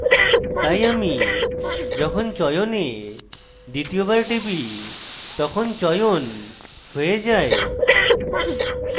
তাই আমি যখন চয়নে দ্বিতীয় বার টিপি তখন চয়ন হয়ে যায়